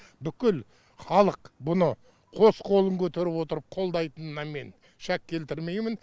бүкіл халық бұны қос қолын көтеріп отырып қолдайтынына мен шәк келтірмеймін